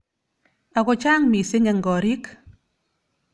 Ako chang missing eng korik.